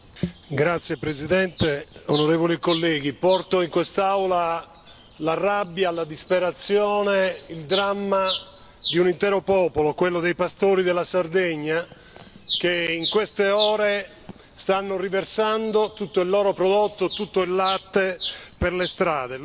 Signor Presidente, onorevoli colleghi, porto in quest'Aula la rabbia, la disperazione, il dramma di un intero popolo, quello dei pastori della Sardegna, che in queste ore stanno riversando tutto il loro prodotto, tutto il latte, per le strade.